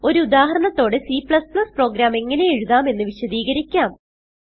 ഒരു ഉദാഹരണത്തോടെ C program എങ്ങനെ എഴുതാം എന്ന് വിശദീകരിക്കാം